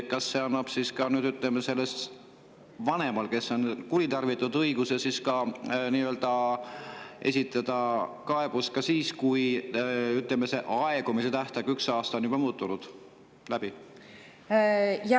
Kas see annab siis nüüd õiguse vanema kohta, kes on õigusi kuritarvitanud, esitada kaebus ka siis, kui see tähtaeg – üks aasta – on juba läbi?